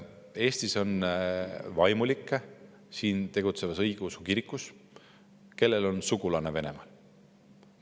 Eestis on vaimulikke siin tegutsevas õigeusu kirikus, kellel on sugulasi Venemaal.